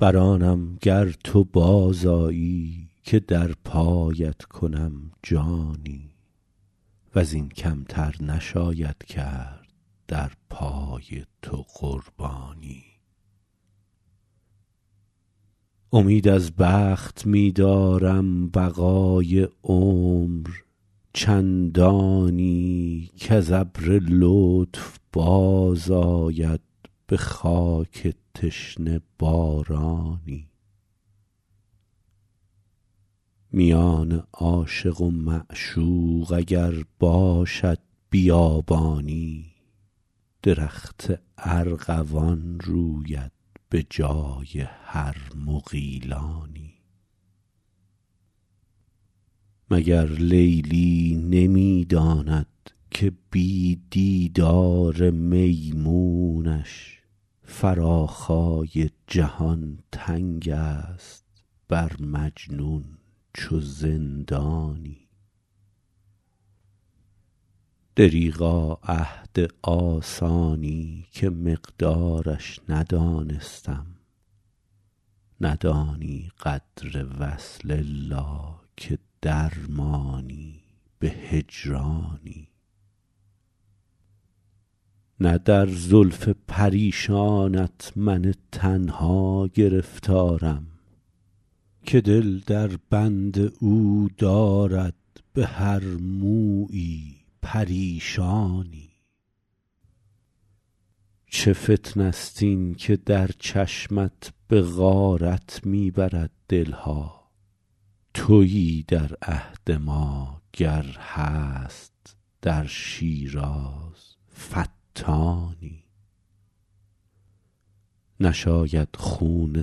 بر آنم گر تو باز آیی که در پایت کنم جانی و زین کم تر نشاید کرد در پای تو قربانی امید از بخت می دارم بقای عمر چندانی کز ابر لطف باز آید به خاک تشنه بارانی میان عاشق و معشوق اگر باشد بیابانی درخت ارغوان روید به جای هر مغیلانی مگر لیلی نمی داند که بی دیدار میمونش فراخای جهان تنگ است بر مجنون چو زندانی دریغا عهد آسانی که مقدارش ندانستم ندانی قدر وصل الا که در مانی به هجرانی نه در زلف پریشانت من تنها گرفتارم که دل در بند او دارد به هر مویی پریشانی چه فتنه ست این که در چشمت به غارت می برد دل ها تویی در عهد ما گر هست در شیراز فتانی نشاید خون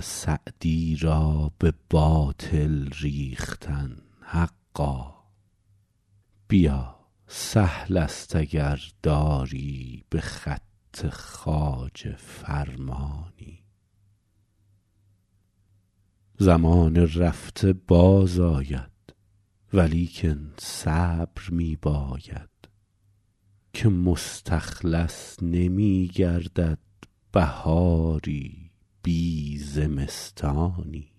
سعدی را به باطل ریختن حقا بیا سهل است اگر داری به خط خواجه فرمانی زمان رفته باز آید ولیکن صبر می باید که مستخلص نمی گردد بهاری بی زمستانی